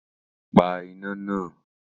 Pa iná náà!